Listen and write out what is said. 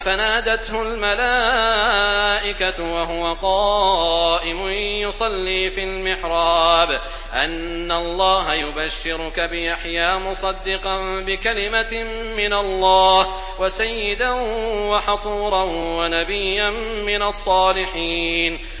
فَنَادَتْهُ الْمَلَائِكَةُ وَهُوَ قَائِمٌ يُصَلِّي فِي الْمِحْرَابِ أَنَّ اللَّهَ يُبَشِّرُكَ بِيَحْيَىٰ مُصَدِّقًا بِكَلِمَةٍ مِّنَ اللَّهِ وَسَيِّدًا وَحَصُورًا وَنَبِيًّا مِّنَ الصَّالِحِينَ